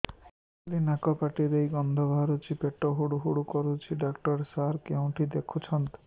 ଖାଲି ନାକ ପାଟି ଦେଇ ଗଂଧ ବାହାରୁଛି ପେଟ ହୁଡ଼ୁ ହୁଡ଼ୁ କରୁଛି ଡକ୍ଟର ସାର କେଉଁଠି ଦେଖୁଛନ୍ତ